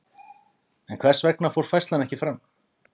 En hvers vegna fór færslan ekki fram?